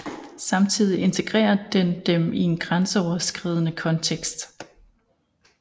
Samtidig integrerer den dem i en grænseoverskridende kontekst